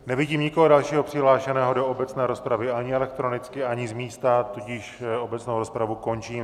Nevidím nikoho dalšího přihlášeného do obecné rozpravy, ani elektronicky, ani z místa, tudíž obecnou rozpravu končím.